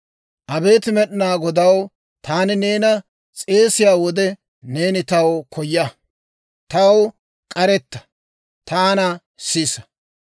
Abeet Med'inaa Godaw, taani neena s'eesiyaa wode, Neeni taw koya; taw k'aretta; taana sisa.